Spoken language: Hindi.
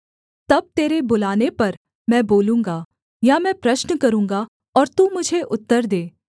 तब तेरे बुलाने पर मैं बोलूँगा या मैं प्रश्न करूँगा और तू मुझे उत्तर दे